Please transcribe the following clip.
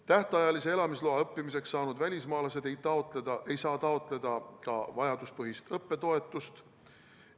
Tähtajalise elamisloa õppimise jaoks saanud välismaalased ei saa taotleda ka vajaduspõhist õppetoetust.